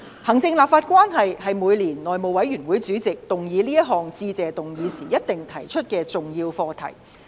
行政立法關係是每年內務委員會主席動議這項致謝議案時必定提及的重要課題。